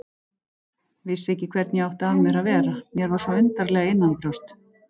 Vissi ekki hvernig ég átti að vera, mér var svo undarlega innanbrjósts.